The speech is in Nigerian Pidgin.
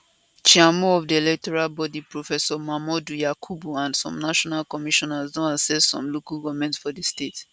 chairmo of di electoral body professor mahmood yakubu and some national commissioners don assess some local goments for di state